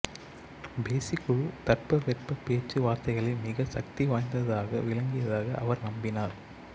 பேசிக் குழு தட்ப வெட்ப பேச்சு வார்த்தைகளில் மிக சக்தி வாய்ந்ததாக விளங்கியதாக அவர் நம்பினார்